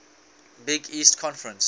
big east conference